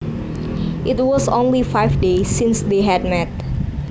It was only five days since they had met